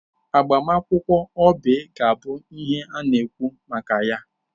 Agbamakwụkwọ Oby ga-abụ ihe a na-ekwu maka ya.